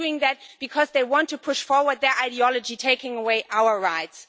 they are doing that because they want to push forward their ideology of taking away our rights.